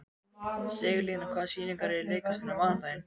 Sigurlína, hvaða sýningar eru í leikhúsinu á mánudaginn?